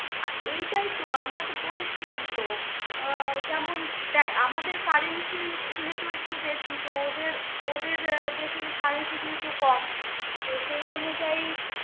আহ এইটাই তো, আমরা তো পড়েছিলাম তো আহ যেমন দেখ আমাদের currency যেহেতু একটু বেশি তো ওদের ওদের দেশের currency যেহেতু কম তো সেই অনুযায়ী